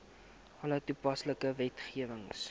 alle toepaslike wetgewing